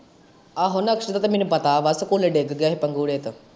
ਆਹੋ, ਨਕਸ਼ ਦਾ ਤੇ ਮੈਨੂੰ ਪਤਾ ਵਾ ਸਕੂਲੇ ਡਿੱਗ ਪਿਆ ਸੀ ਪੰਗੂਰੇ ਤੋਂ।